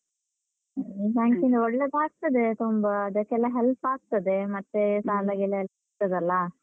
Bank ಇಂದ ಒಳ್ಳೇದ್ಸ ಆಗ್ತದೆ ತುಂಬ. ಅದಕ್ಕೆಲ್ಲ help ಆಗ್ತದೆ, ಮತ್ತೆ ಸಾಲ ಗೀಲ ಸಿಗ್ತದಲ್ಲ?